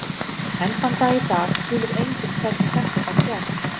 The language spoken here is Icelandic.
Enn þann dag í dag skilur enginn hvernig þetta gat gerst.